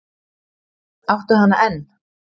Áttu hana enn?